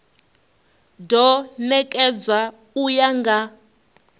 do nekedzwa u ya nga